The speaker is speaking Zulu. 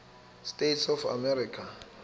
states of america